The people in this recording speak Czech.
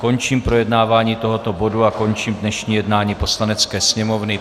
Končím projednávání tohoto bodu a končím dnešní jednání Poslanecké sněmovny.